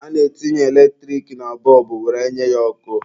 A na-etinye eletrik na bọlbụ were nye ya ọkụ.